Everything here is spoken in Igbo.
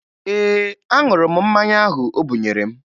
Ee, aṅụrụ m mmanya ahụ o bunyere m